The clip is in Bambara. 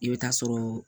I bɛ taa sɔrɔ